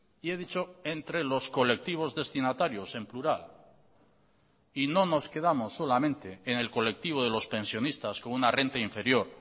y he dicho entre los colectivos destinatarios en plural y no nos quedamos solamente en el colectivo de los pensionistas con una renta inferior